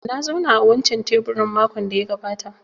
Na zauna a wancan teburin makon da ya gabata